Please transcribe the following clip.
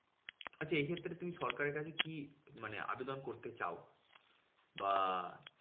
আচ্ছা এইক্ষেত্রে তুমি সরকারের কাছে কি মানে আবেদন করতে চাও? বা